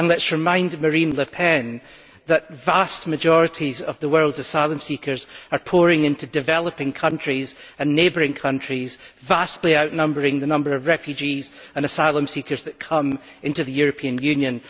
Let us remind Marine Le Pen that the vast majority of the world's asylum seekers are pouring into developing countries and neighbouring countries, vastly outnumbering the number of refugees and asylum seekers that come into the European Union.